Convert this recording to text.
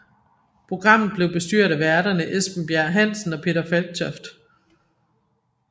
Programmet blev bestyret af værterne Esben Bjerre Hansen og Peter Falktoft